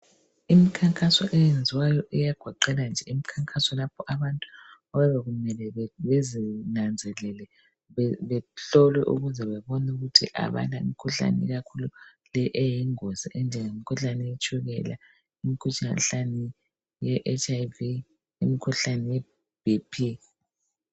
Imikhankaso eyenziwayo iyagoqela nje imikhankaso lapho abantu okuyabe kumele bazinanzelele bahlolwe ukuze babone ukuthi abalamkhuhlane ikakhulu le eyingozi enjengemkhuhlane yetshukela, imkhuhlane ye Hiv, imkhuhlane ye BP.